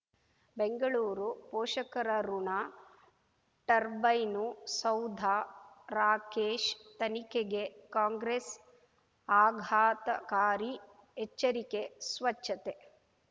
ಬೆಂಗಳೂರು ಪೋಷಕರಋಣ ಟರ್ಬೈನು ಸೌಧ ರಾಕೇಶ್ ತನಿಖೆಗೆ ಕಾಂಗ್ರೆಸ್ ಆಘಾತಕಾರಿ ಎಚ್ಚರಿಕೆ ಸ್ವಚ್ಛತೆ